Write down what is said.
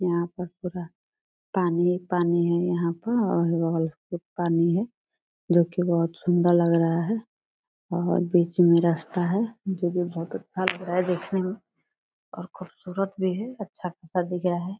यहाँ पर पूरा पानी ही पानी है यहाँ पर और बगल से पानी है जो कि बहोत सुंदर लग रहा है और बीच में रस्ता है जो कि बहोत अच्छा लग रहा है देखने में और खूबसूरत भी है अच्छा खासा दिख रहा है ।